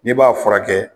N'i b'a furakɛ